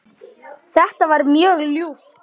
Þetta var mjög ljúft.